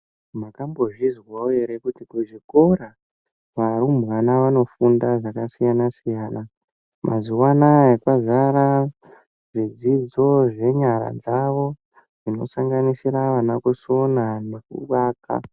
Makambozvizwawo ere kuti kuzvikora varumbwana vanofunda zvakasiyana siyana. Mazuwa anaya kwazara zvidzidzo zvenyara dzawo zvinosanganisira vana kusona nekuaka.